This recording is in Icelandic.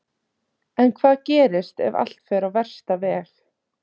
En hvað gerist ef allt fer á versta veg?